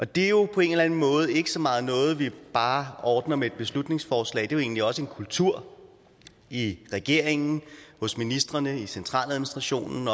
det er jo på en eller anden måde ikke så meget noget vi bare ordner med et beslutningsforslag det er jo egentlig også en kultur i regeringen hos ministrene i centraladministrationen